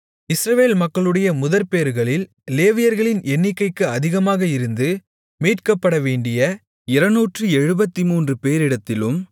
இஸ்ரவேல் மக்களுடைய முதற்பேறுகளில் லேவியர்களின் எண்ணிக்கைக்கு அதிகமாக இருந்து மீட்கப்படவேண்டிய 273 பேரிடத்திலும்